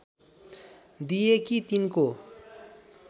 दिए कि तिनको